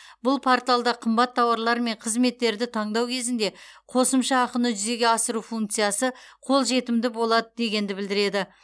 бұл порталда қымбат тауарлар мен қызметтерді таңдау кезінде қосымша ақыны жүзеге асыру функциясы қолжетімді болады дегенді білдіреді